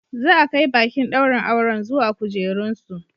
Za a kai baƙin ɗaurin auren zuwa kujerunsu.